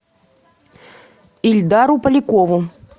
ильдару полякову